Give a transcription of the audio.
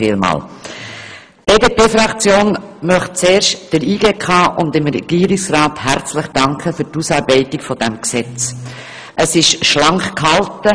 Die BDP-Fraktion möchte der JGK und dem Regierungsrat herzlich für die Ausarbeitung dieses Gesetzes danken.